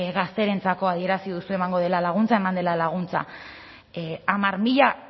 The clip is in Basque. gazterentzako adierazi duzue emango dela laguntza eman dela laguntza hamar mila